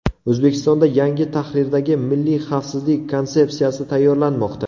O‘zbekistonda yangi tahrirdagi Milliy xavfsizlik konsepsiyasi tayyorlanmoqda.